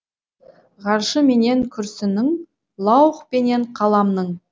ғаршы менен күрсінің лаух пенен қаламның